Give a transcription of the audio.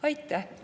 Aitäh!